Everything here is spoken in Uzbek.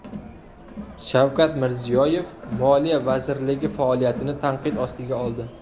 Shavkat Mirziyoyev Moliya vazirligi faoliyatini tanqid ostiga oldi.